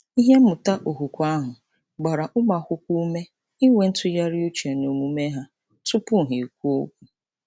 Ihe mmụta okwukwe ahụ gbara ụmụakwụkwọ ume inwe ntụgharị uche n’omume ha tụpụ ha ekwuo okwu.